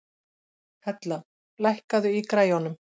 Hella, lækkaðu í græjunum.